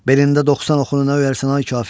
Belində 90 oxunu nə öyərsən, ay kafir?